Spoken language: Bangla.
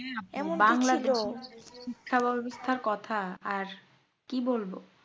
শিক্ষা ব্যাবস্থার কথা আর কি বলবো